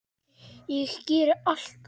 Ég geri allt annað.